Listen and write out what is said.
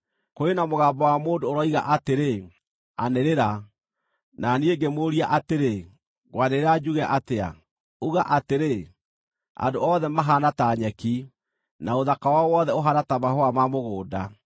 Kũrĩ na mũgambo wa mũndũ ũroiga atĩrĩ, “Anĩrĩra.” Na niĩ ngĩmũũria atĩrĩ, “Ngwanĩrĩra njuge atĩa?” “Uga atĩrĩ: Andũ othe mahaana ta nyeki, na ũthaka wao wothe ũhaana ta mahũa ma mũgũnda.